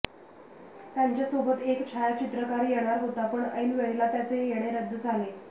त्यांच्यासोबत एक छायाचित्रकार येणार होता पण ऐन वेळेला त्याचे येणे रद्द झाले